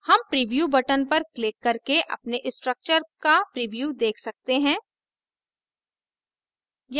हम preview button पर click करके अपने structure का प्रीव्यू देख सकते हैं